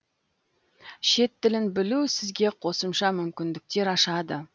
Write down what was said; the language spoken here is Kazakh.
шет тілін білу сізге қосымша мүмкіндіктер ашады